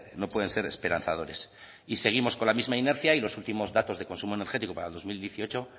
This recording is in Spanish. no pueden ser esperanzadores seguimos con la misma inercia y los últimos datos de consumo energético para el dos mil dieciocho